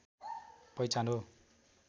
पहिचान हो